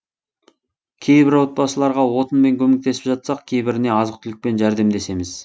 кейбір отбасыларға отынмен көмектесіп жатсақ кейбіріне азық түлікпен жәрдемдесеміз